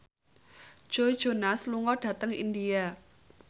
Joe Jonas lunga dhateng India